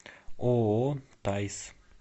ооо таис